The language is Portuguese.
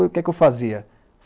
O que que eu fazia?